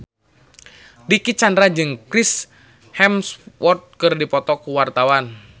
Dicky Chandra jeung Chris Hemsworth keur dipoto ku wartawan